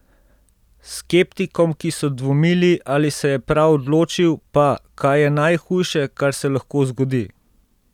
Skeptikom, ki so dvomili, ali se je prav odločil, pa: "Kaj je najhujše, kar se lahko zgodi?